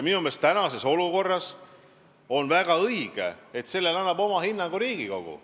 Minu meelest on tänases olukorras väga õige, et sellele annab oma hinnangu Riigikogu.